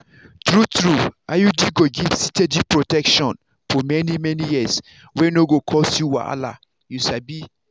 true-true iud go give steady protection for many-many years wey no go cause you wahala. you sabi.